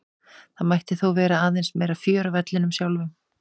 Það mætti þó vera aðeins meira fjör á vellinum sjálfum.